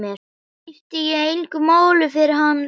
Skipti ég engu máli fyrir hann lengur?